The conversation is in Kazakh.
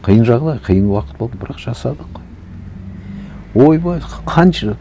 қиын жағдай қиын уақыт болды бірақ жасадық қой ойбай қанша